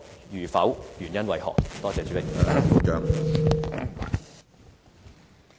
如否，原因為何？